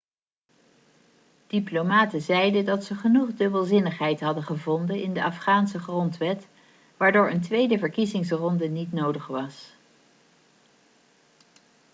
diplomaten zeiden dat ze genoeg dubbelzinnigheid hadden gevonden in de afghaanse grondwet waardoor een tweede verkiezingsronde niet nodig was